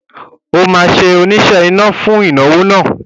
O óò ṣe oníṣe iná fún ìnáwó náà